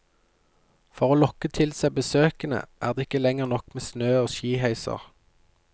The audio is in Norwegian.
For å lokke til seg besøkende, er det ikke lenger nok med snø og skiheiser.